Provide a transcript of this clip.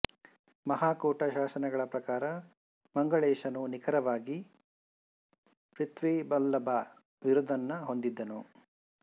ಮಹಾಕೂಟ ಶಾಸನಗಳ ಪ್ರಕಾರ ಮಂಗಳೇಶನು ನಿಖರವಾಗಿ ಪ್ರಥ್ವಿವಲ್ಲಭ ಬಿರುದನ್ನು ಹೊಂದಿದ್ದನು